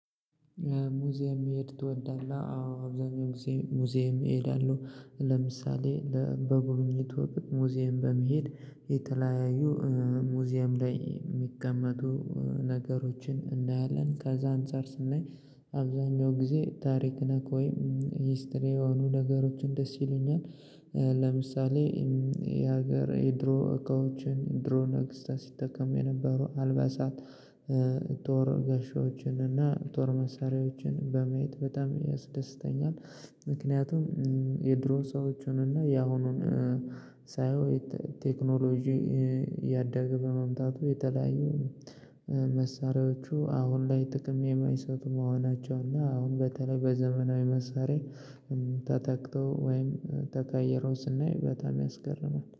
ሙዚየም መሄድ ትወዳለህ? አዎ አብዛኛው ጊዜ ሙዚየም እሄዳለሁ ለምሳሌ በጉብኝት ወቅት ሙዚየም በመሄድ የተለያዩ ሙዚየም ላይ የሚቀመጡ ነገሮችን እናያለን ከዛ አንፃር ስናይ አብዛኛው ጊዜ ታሪክ ነክ ወይም ሂስትሪ የሆኑ ነገሮችን ደስ ይሉኛል ለምሳሌ የሀገር የድሮ እቃዎችን ድሮ ነግስታ ሲጠቀሙ የነበሩ አልበሳት ጦር ጋሻዎችን እና ጦር መሳሪያዎችን በማየት በጣም ያስደስተኛል ምክንያቱም የድሮ ሰዎችን እና ያሁኑን ሳየው ቴክኖሎጂ እያደገ በመምጣቱ የተለያዩ መሳሪያዎቹ አሁን ላይ ጥቅም የማይሰጡ መሆናቸው እና አሁን በተለይ በዘመናዊ መሳሪያ ተተክቶ ወይም ተቀይሮ ስናይ በጣም ያስገርማል